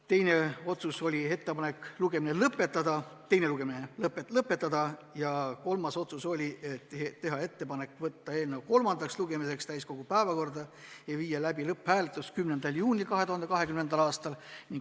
Teine otsus oli ettepanek teine lugemine lõpetada ja kolmas otsus oli teha ettepanek võtta eelnõu kolmandaks lugemiseks täiskogu päevakorda ja viia läbi lõpphääletus 10. juunil 2020. aastal.